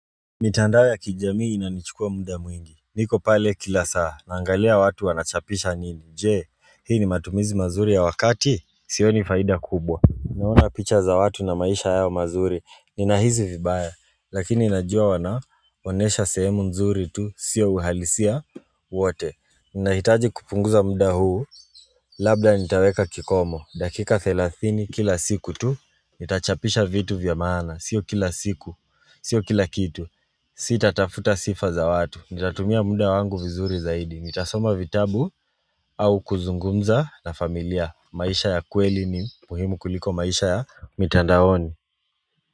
Mitandao ya kijamii inanichukua muda mwingi niko pale kila saa naangalia watu wanachapisha nini Je hii ni matumizi mazuri ya wakati sioni faida kubwa Naona picha za watu na maisha yao mazuri Nina hisi vibaya lakini najua wanaonesha sehemu nzuri tu Sio uhalisia wote Ninahitaji kupunguza muda huu Labda nitaweka kikomo dakika thelathini kila siku tu Nitachapisha vitu vyamaana Sio kila siku Sio kila kitu sita tafuta sifa za watu Nitatumia muda wangu vizuri zaidi nitasoma vitabu au kuzungumza na familia maisha ya kweli ni muhimu kuliko maisha ya mitandaoni.